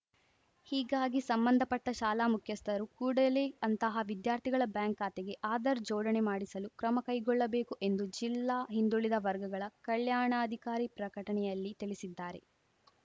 ಹೀಗಾಗಿ ಸಂಬಂಧಪಟ್ಟಶಾಲಾ ಮುಖ್ಯಸ್ಥರು ಕೂಡಲೇ ಅಂತಹ ವಿದ್ಯಾರ್ಥಿಗಳ ಬ್ಯಾಂಕ್‌ ಖಾತೆಗೆ ಆಧಾರ್‌ ಜೋಡಣೆ ಮಾಡಿಸಲು ಕ್ರಮ ಕೈಗೊಳ್ಳಬೇಕು ಎಂದು ಜಿಲ್ಲಾ ಹಿಂದುಳಿದ ವರ್ಗಗಳ ಕಲ್ಯಾಣಾಧಿಕಾರಿ ಪ್ರಕಟಣೆಯಲ್ಲಿ ತಿಳಿಸಿದ್ದಾರೆ